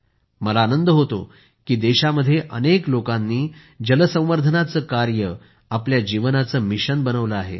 मला आनंद होतो की देशामध्ये अनेक लोकांनी जल संवर्धनाचे कार्य आपल्या जीवनाचे मिशनच बनविले आहे